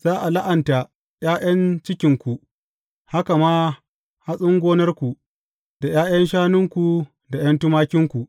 Za a la’anta ’ya’yan cikinku, haka ma hatsin gonarku, da ’ya’yan shanunku da ’yan tumakinku.